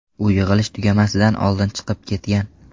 U yig‘ilish tugamasidan oldin chiqib ketgan.